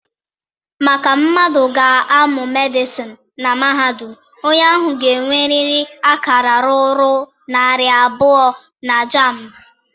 Maka mmadụ ga-amụ Medịsịn na mahadum, onye ahụ ga-enwerịrị akara ruru narị abụọ na JAMB.